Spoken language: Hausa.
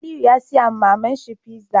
Aliyu ya siya wa maman shi pizza